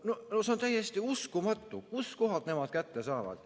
No see on täiesti uskumatu, kust kohast nemad selle kätte saavad.